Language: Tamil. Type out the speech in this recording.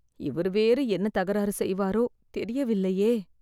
இவர் வேறு என்ன தகராறு செய்வாரோ.. தெரியவில்லையே